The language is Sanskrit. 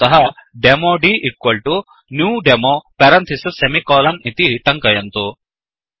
अतः demo dnew demo parenthesis semicolon इति टङ्कयन्तु